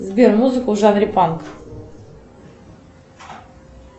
сбер музыку в жанре панк